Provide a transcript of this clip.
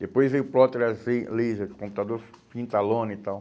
Depois veio plotter lazer, laser, computador pinta a lona e tal.